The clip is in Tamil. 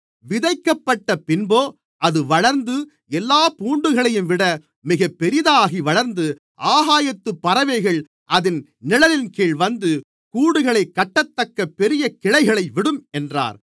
விதைக்கப்பட்டப் பின்போ அது வளர்ந்து எல்லாப் பூண்டுகளையும்விட மிக பெரிதாக வளர்ந்து ஆகாயத்துப் பறவைகள் அதின் நிழலின்கீழ் வந்து கூடுகளைக்கட்டத்தக்க பெரிய கிளைகளை விடும் என்றார்